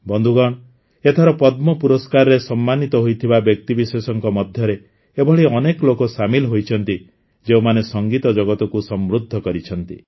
ବନ୍ଧୁଗଣ ଏଥର ପଦ୍ମ ପୁରସ୍କାରରେ ସମ୍ମାନୀତ ହୋଇଥିବା ବ୍ୟକ୍ତିବିଶେଷଙ୍କ ମଧ୍ୟରେ ଏଭଳି ଅନେକ ଲୋକ ସାମିଲ ହୋଇଛନ୍ତି ଯେଉଁମାନେ ସଙ୍ଗୀତ ଜଗତକୁ ସମୃଦ୍ଧ କରିଛନ୍ତି